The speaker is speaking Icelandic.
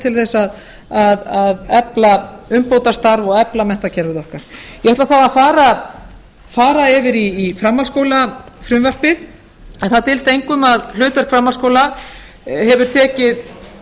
til að efla umbótastarf og efla menntakerfið okkar ég ætla þá að fara yfir í framhaldsskólafrumvarpið en það dylst engum að hlutverk framhaldsskóla hefur tekið